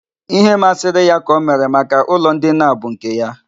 Ihe masịrị ya ka o mere. Maka ụlọ ndina a bụ nke ya.